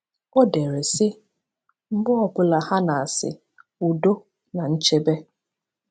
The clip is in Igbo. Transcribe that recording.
Ọ dere, sị: “Mgbe ọ bụla ha na-asị: ‘Udo na nchebe!’